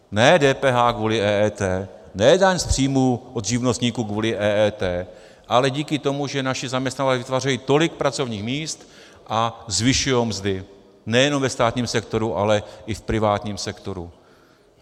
Ne DPH kvůli EET, ne daň z příjmů od živnostníků kvůli EET, ale díky tomu, že naši zaměstnavatelé vytvářejí tolik pracovních míst a zvyšují mzdy, nejen ve státním sektoru, ale i v privátním sektoru.